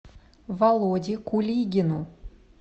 володе кулигину